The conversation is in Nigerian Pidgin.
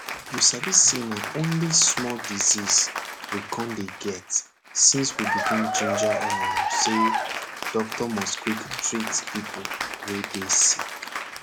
you sabi say na only small disease we com dey get since we begin ginger um say doctor must quick treat pipo wey dey sick